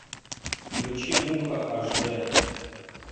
включи муха аш д